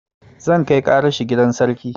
Zan kai ƙaran shi gidan sarki